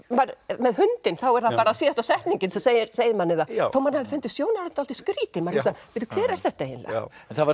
með hundinn þá er það síðasta setningin sem segir segir manni það þó að manni hafi fundist sjónarhornið dálítið skrítið hver er þetta eiginlega